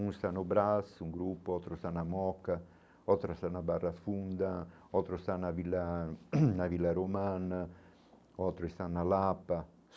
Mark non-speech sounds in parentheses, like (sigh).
Um está no braço, um grupo, outro está na moca, outro está na barra funda, outro está na Vila (coughs) na Vila Romana, outro está na Lapa.